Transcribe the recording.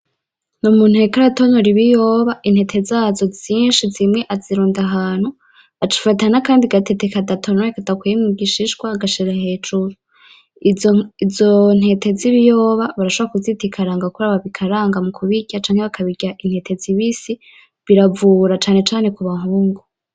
N'umuntu yariko aratonora ibiyoba intete zishi zimwe azirunda ahantu aca afata n'akandi gatete kadatonoye kadakuye mu gishishwa agashira hejuru izo ntete z'ibiyoba barashobora kuzita ikaranga kubera babikaranga mu kubirya canke bakabirya intete zibisi biravura cane cane ku bahungu.